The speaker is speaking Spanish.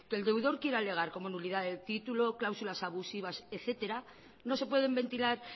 que el deudor quiera alegar como nulidad del título cláusulas abusivas etcétera no se pueden ventilar